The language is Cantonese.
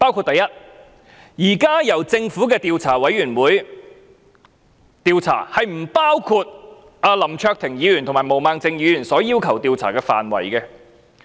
第一，現在由政府的獨立調查委員會進行的調查，並不包括林卓廷議員和毛孟靜議員要求的調查範圍。